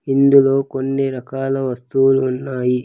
ఇందులో కొన్ని రకాల వస్తువులు ఉన్నాయి.